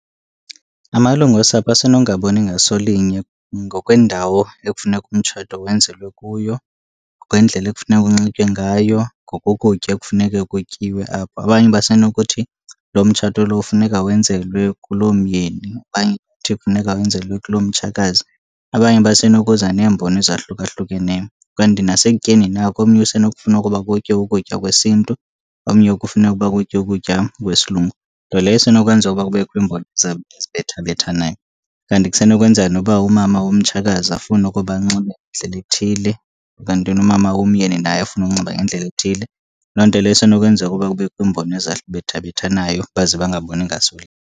Amalungu osapho asenongaboni ngaso linye ngokwendawo ekufuneka umtshato wenzelwe kuyo, ngokwendlela ekufuneka kunxitywe ngayo, ngokokutya ekufuneke kutyiwe apha. Abanye basenokuthi lo mtshato lo funeka wenzelwe kulomyeni, abanye bathi kufuneka wenzelwe kulomtshakazi, abanye basenokuza neembono ezahlukahlukeneyo. Kanti nasekutyeni nako, omnye usenokufuna ukuba kutyiwe ukutya kwesiNtu, omnye kufuneke uba kutyiwe ukutya kwesilungu, nto leyo esenokwenza uba kubekho iimbono ezibethabethanayo. And kusenokwenzeka noba umama womtshakazi afune ukuba anxibe ngendlela ethile, ukanti nomama womyeni naye afune ukunxiba ngendlela ethile. Loo nto leyo isenokwenza ukuba kubekho imbono ezibethabethanayo baze bangaboni ngaso linye.